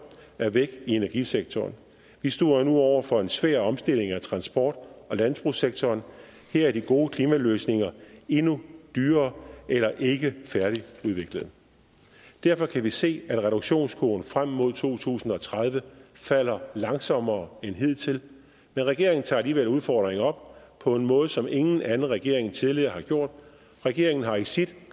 er væk i energisektoren vi står nu over for en svær omstilling af transport og landbrugssektoren her er de gode klimaløsninger endnu dyrere eller ikke færdigudviklet derfor kan vi se at reduktionskurven frem mod to tusind og tredive falder langsommere end hidtil men regeringen tager alligevel udfordringen op på en måde som ingen anden regering tidligere har gjort regeringen har i sit